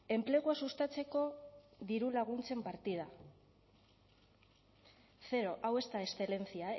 enplegua sustatzeko dirulaguntzen partida zero hau ez da excelencia